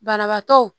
Banabaatɔ